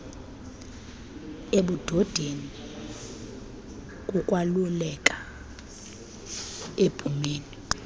ebudodeni kukwalukela ebhumeni